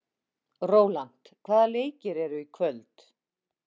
Rólant, hvaða leikir eru í kvöld?